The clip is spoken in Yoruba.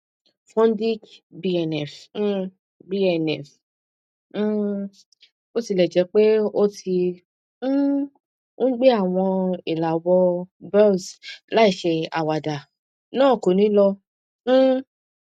fudic bnf um bnf um botilẹjẹpe o ti um n gbẹ awọn ilàwọ boils láìṣe àwáda naa ko ni lọ um